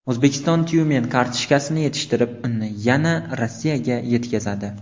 O‘zbekiston Tyumen kartoshkasini yetishtirib, uni yana Rossiyaga yetkazadi.